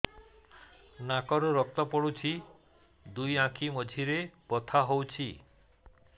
ନାକରୁ ରକ୍ତ ପଡୁଛି ଦୁଇ ଆଖି ମଝିରେ ବଥା ହଉଚି